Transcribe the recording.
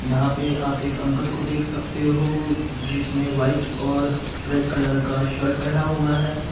यहां पे आप एक अंकल को देख सकते हो जिसेने व्हाइट और रेड कलर का शर्ट पहना हुआ है।